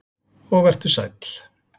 Og vertu sæll.